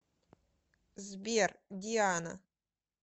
сбер диана